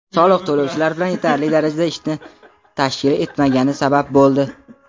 soliq to‘lovchilar bilan yetarli darajada ishni tashkil etmagani sabab bo‘ldi.